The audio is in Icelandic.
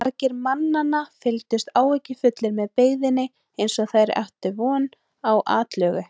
Margir mannanna fylgdust áhyggjufullir með byggðinni eins og þeir ættu von á atlögu.